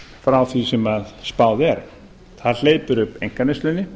frá því sem spáð er það hleypir upp einkaneyslunni